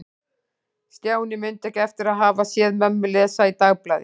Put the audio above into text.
Stjáni mundi ekki eftir að hafa séð mömmu lesa í dagblaði.